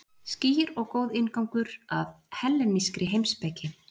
Skýr og góður inngangur að hellenískri heimspeki.